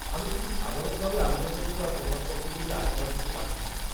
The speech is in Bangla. আমি শুধু সাধারণভাবে আবেদনপত্র আর প্রমাণপত্রগুলি আয়কর অফিসে পাঠিয়েছিলাম।